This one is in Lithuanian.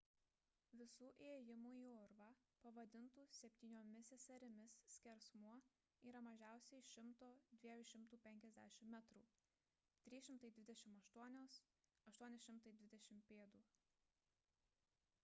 visų įėjimų į urvą pavadintų septyniomis seserimis skersmuo yra mažiausiai 100–250 metrų 328–820 pėd.